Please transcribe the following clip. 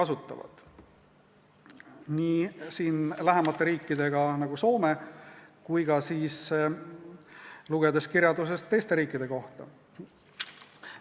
Võrreldakse nii lähemate riikidega nagu Soome kui ka kirjandusest teiste riikide kohta lugedes.